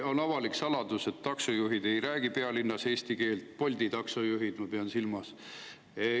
On avalik saladus, et taksojuhid ei räägi pealinnas eesti keelt: Bolti taksojuhid, ma pean silmas.